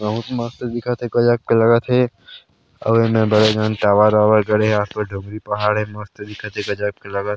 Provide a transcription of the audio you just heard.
बहुत मस्त दिखत हे करिया कलर लगत हे और एमे बड़े झन टावर -वावर गड़े हे आसपास भी पहाड़ हे मस्त दिखत हे गजब के लगत हे।